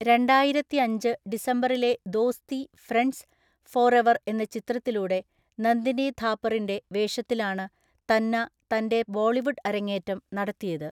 രണ്ടായിരത്തിഅഞ്ച് ഡിസംബറിലെ Dosti friends forever എന്ന ചിത്രത്തിലൂടെ നന്ദിനി ഥാപ്പറിന്റെ വേഷത്തിലാണ് തന്ന തന്റെ ബോളിവുഡ് അരങ്ങേറ്റം നടത്തിയത്.